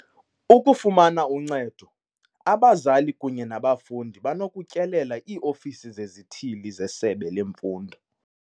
Ukufumana uncedo, abazali kunye nabafundi banokutyelela ii-ofisi zezithili zesebe lemfundo.